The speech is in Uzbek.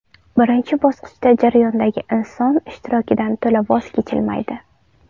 Birinchi bosqichda jarayondagi inson ishtirokidan to‘la voz kechilmaydi.